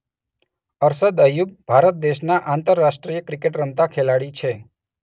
અરશદ અય્યુબ ભારત દેશના આંતરરાષ્ટ્રીય ક્રિકેટ રમતા ખેલાડી છે